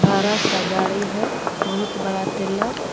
बड़ा सा गाड़ी है बहुत बड़ा टेलर ।